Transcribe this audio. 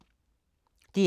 DR2